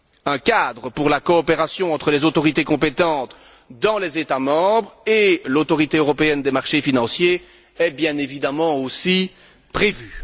Un cadre pour la coopération entre les autorités compétentes dans les États membres et l'Autorité européenne des marchés financiers est bien évidemment aussi prévu.